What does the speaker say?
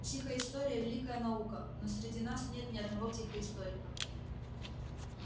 психоистория великая наука но среди нас нет ни одного психоисторика